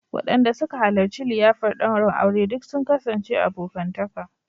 Wadanda suka halarci liyafar daurin aure duk sun kasance abokantaka